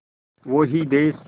वो ही देस